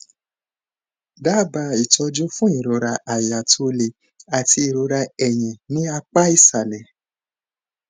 daba itọjú fún ìrora àyà to le àti ìrora ẹyìn ní apá ìsàlẹ